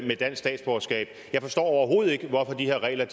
med dansk statsborgerskab jeg forstår overhovedet ikke hvorfor de her regler